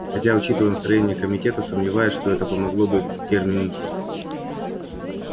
хотя учитывая настроения комитета сомневаюсь что это помогло бы терминусу